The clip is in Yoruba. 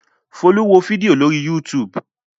Folú wo fídíò lórí YouTube.